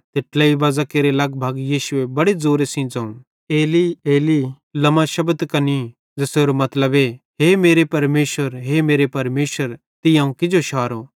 ते ट्लेई बाज़ां केरे लगभग यीशुए बड़े ज़ोरे सेइं ज़ोवं एली एली लमा शबक्तनी ज़ेसेरो मतलबे हे मेरे परमेशर हे मेरे परमेशर तीं अवं किजो शारो